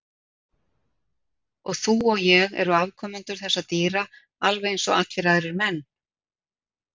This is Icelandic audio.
Og þú og ég eru afkomendur þessara dýra alveg eins og allir aðrir menn.